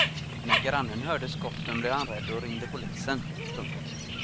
När grannen hörde skotten blev han rädd och ringde polisen. punkt